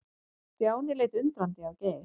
Stjáni leit undrandi á Geir.